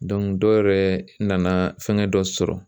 dɔ yɛrɛ nana fɛngɛ dɔ sɔrɔ.